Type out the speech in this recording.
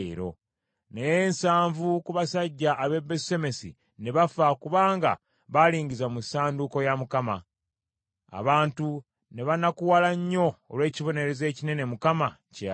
Naye nsanvu ku basajja ab’e Besusemesi ne bafa kubanga balingiza mu ssanduuko ya Mukama . Abantu ne banakuwala nnyo olw’ekibonerezo ekinene Mukama kye yabawa,